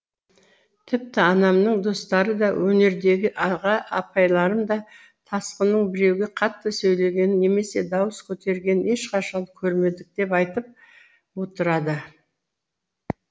тіпті анамның достары да өнердегі аға апайларым да тасқынның біреуге қатты сөйлегенін немесе дауыс көтергенін ешқашан көрмедік деп айтып отырады